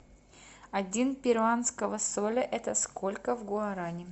один перуанского соля это сколько в гуарани